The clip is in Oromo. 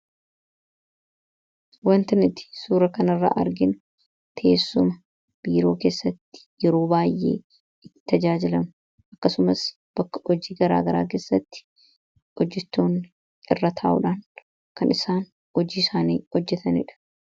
wanta nuti suura kanirra arginu teessuma biiroo keessatti yeroo baay'ee itti tajaajilamnu akkasumas bakka hojii garaa garaa keessatti hojjetoonni irra taa'uudhaan kan isaan hojii isaanii hojjetaniidha